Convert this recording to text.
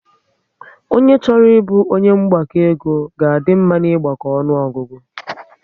Ọnye chọrọ ịbụ onye mgbakọ ego ga a dị mma na ịgbako ọnụọgụgụ